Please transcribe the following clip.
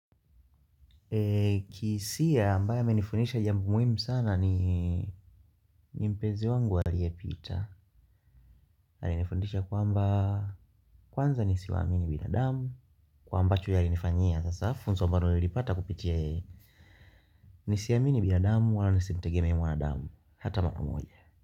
Kihisia ambaye amenifundisha jambo muhimu sana ni mpenzi wangu aliyepita alinifundisha kwamba kwanza nisiwaamini binadamu. Kwa ambacho yeye alinifanyia sasa funzo ambalo nilipata kupitia. Nisiamini binadamu wala nisimtegemee mwanadamu hata mara moja.